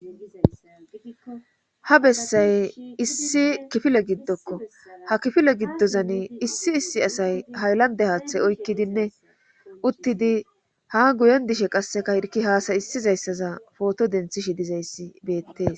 ha bessay issi kifile giddokko ha kifile giddozani issi issi asay hayllande haaththay oykkidinne uttidi ha guyen dishe qasseka irki haasayissizayssaza pooto denthishi dizayssi beettees